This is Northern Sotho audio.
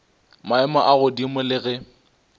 maemo a godimo le ge